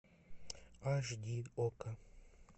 аш ди окко